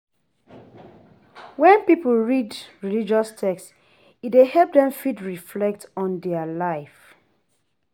When pipo read religious text e dey help dem fit reflect on their life